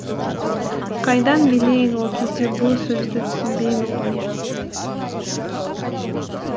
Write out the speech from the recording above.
қайдан білейін ол кезде бұл сөзді түсінбеймін ғой